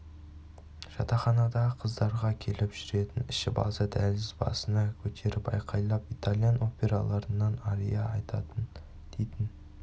жатақханадағы қыздарға келіп жүретін ішіп алса дәлізді басына көтеріп айқайлап итальян операларынан ария айтатын дейтін